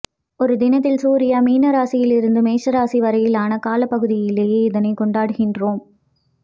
ஒரு தினத்தில் சூரியா மீன இராசியில் இருந்து மேச இராசி வரையிலான காலப் பகுதியிலேயே இதனைக் கொண்டாடுகின்றோம்